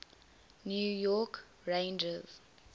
new york rangers